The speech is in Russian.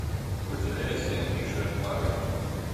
выделяйся миша марвин